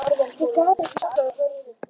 Ég gat ekki sofnað um kvöldið.